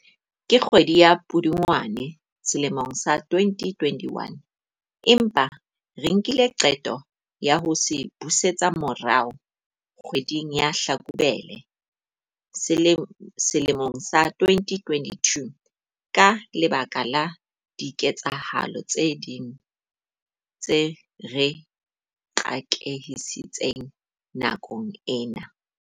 ka kgwedi ya Pudungwana selemong sa 2021, empa re nkile qeto ya ho se busetsa morao kgwe ding ya Hlakubele sele mong sa 2022 ka lebaka la diketsahalo tse ding tse re qakehisitseng nakong ena.